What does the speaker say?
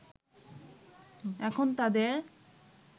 এখন তাদের